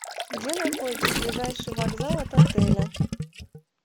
где находится ближайший вокзал от отеля